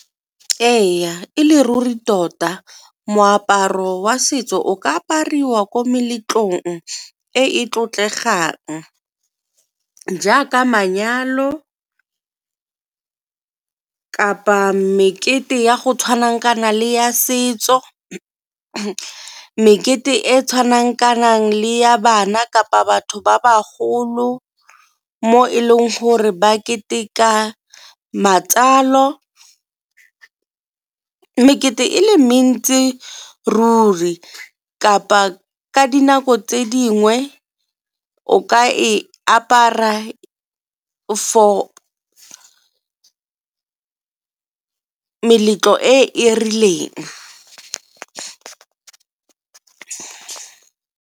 Ee, e le ruri tota moaparo wa setso o ka apariwa ko meletlong e e tlotlegang jaaka manyalo kapa mekete ya go tshwana le ya setso, mekete e e tshwanang le ya bana kapa batho ba ba golo mo e leng gore ba keteka matsalo, mekete e le mentsi e ruri kapa ka dinako tse dingwe o ka e apara for meletlo e e rileng.